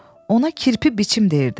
Ona kirpi biçim deyirdi.